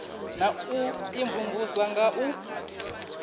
na u imvumvusa nga u